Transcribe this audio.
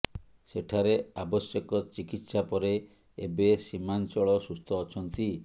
ସେଠାରେ ଆବଶ୍ୟକ ଚିକିତ୍ସା ପରେ ଏବେ ସୀମାଞ୍ଚଳ ସୁସ୍ଥ ଅଛନ୍ତି